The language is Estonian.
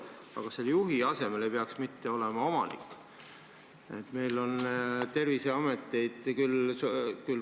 Aga kas selle "juhi" asemel ei peaks mitte olema "omanik"?